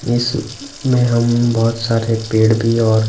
इसमें हम बहुत सारे पेड़ भी और--